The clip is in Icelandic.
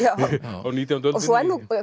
á nítjándu öldinni í